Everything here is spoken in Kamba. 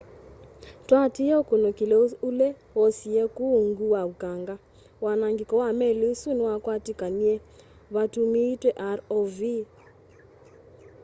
tũatĩĩe ũkũnĩkĩlĩ ũle woosĩwe kũũ ũũngũ wa ũkanga wanangĩko wa meli ĩsũ nĩwakwatĩkanĩe vatũũmĩĩtwe rov